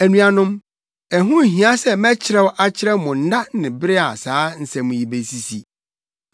Anuanom, ɛho nhia sɛ mɛkyerɛw akyerɛ mo nna ne bere a saa nsɛm yi besisi.